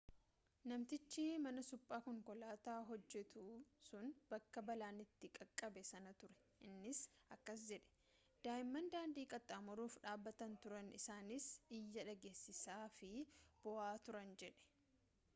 namatchi mana suphaa konkolaataa hojjetu sun bakka balaan itti qaqqabe sana ture innis akkas jedhe'' daa'imman daandii qaxxaamuruuf dhaabbataa turan isaanis iyya dhageessisaafi boo'aa turan jedhe